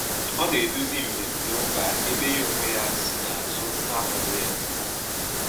Ọ na eduzi mmemme ụka, ebe ya ọ nwe ya si na azụ na-akwado ya